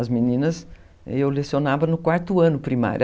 As meninas, eu lecionava no quarto ano primário.